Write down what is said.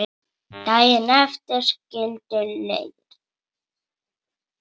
Daginn eftir skildu leiðir.